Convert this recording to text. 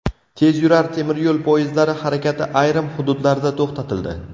Tezyurar temiryo‘l poyezdlari harakati ayrim hududlarda to‘xtatildi.